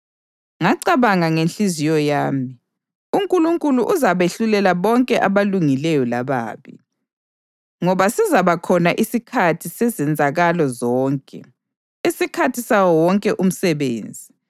Ngacabanga ngenhliziyo yami, “UNkulunkulu uzabehlulela bonke abalungileyo lababi, ngoba sizaba khona isikhathi sezenzakalo zonke, isikhathi sawo wonke umsebenzi.”